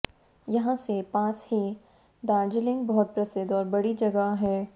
यहां से पास ही दार्जिलिंग बहुत प्रसिद्द और बड़ी जगह है